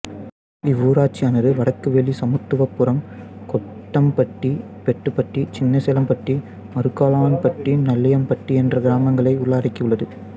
இவ்வூராட்சியானது வடக்குவெளி சமத்துவபுரம் கொத்தம்பட்டி பெத்துப்பட்டி சின்னசேலம்பட்டி மருக்கலான்பட்டி நல்லியம்பட்டி என்ற கிராமங்களை உள்ளடக்கி உள்ளது